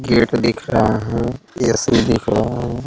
Gate दिख रहा है ए_सी दिख रहा है।